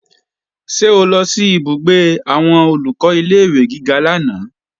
Ṣé o lọ ìbúgbé àwọn Olùkọ́ ilé-ìwé gíga lánàá?